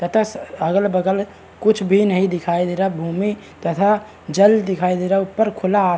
तथा अगल बगल कुछ भी नहीं दिखाई दे रहा है | भूमि तथा जल दिखाई दे रहा है ऊपर खुला आस --